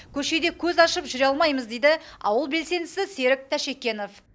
көшеде көз ашып жүре алмаймыз дейді ауыл белсендісі серік тәшекенов